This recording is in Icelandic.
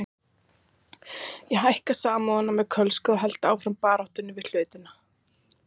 Ég hækka Samúðina með Kölska og held áfram baráttunni við hlutina.